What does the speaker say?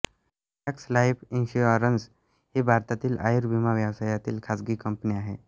max Life Insurance ही भारतातील आयुर्विमा व्यवसायातील खाजगी कंपनी आहे